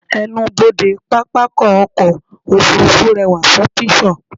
ẹnubodè pápákọ̀ ọ̀kọ òfurufú rewa fun pishur